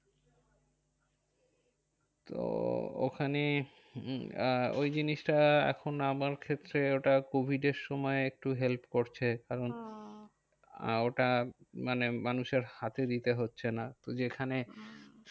তো ওখানে আহ ওই জিনিসটা এখন আমার ক্ষেত্রে ওটা covid আর সময় একটু help করছে। কারণ ওটা মানে মানুষের হাতে দিতে হচ্ছে না। তো যেখানে